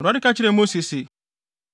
Awurade ka kyerɛɛ Mose se,